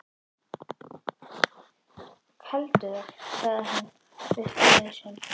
Felldu það, sagði hann við föður sinn.